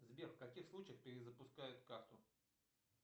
сбер в каких случаях перезапускают карту